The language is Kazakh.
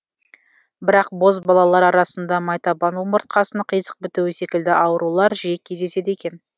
бірақ бозбалалар арасында майтабан омыртқасының қисық бітуі секілді аурулар жиі кездеседі екен